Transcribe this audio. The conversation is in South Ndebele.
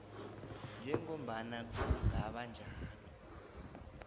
njengombana kungaba njalo